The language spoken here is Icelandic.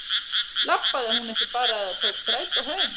Labbaði hún ekki bara eða tók strætó heim?